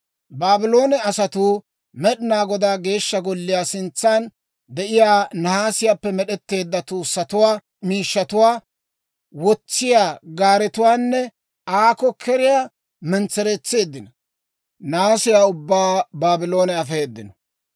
Baabloone asatuu Med'inaa Godaa Geeshsha Golliyaa sintsaan de'iyaa nahaasiyaappe med'd'eedda tuussatuwaa, miishshatuwaa wotsiyaa gaaretuwaanne Aako-Keriyaa mentsereetseeddino; naasiyaa ubbaa Baabloone afeedino.